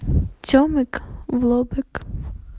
цемик в лобик